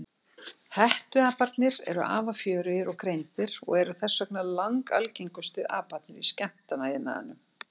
Hettuaparnir eru afar fjörugir og greindir og eru þess vegna langalgengustu aparnir í skemmtanaiðnaðinum.